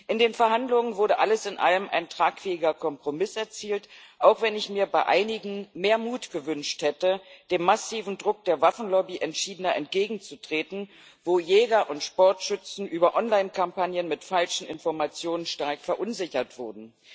In den Verhandlungen wurde alles in allem ein tragfähiger Kompromiss erzielt, auch wenn ich mir bei einigen mehr Mut gewünscht hätte, dem massiven Druck der Waffenlobby entschiedener entgegenzutreten, wo Jäger und Sportschützen über Online Kampagnen mit falschen Informationen stark verunsichert wurden.